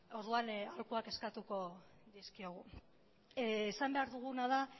orduan aholkuak eskatuko dizkiogu esan behar duguna da